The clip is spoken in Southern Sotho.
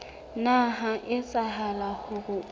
nna ha etsahala hore o